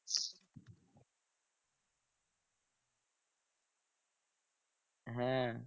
হ্যাঁ